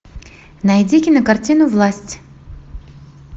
найди кинокартину власть